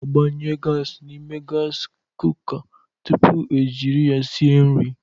A na-agbanye gasị n'ime gasị kuka tupu e jiri ya sie nri.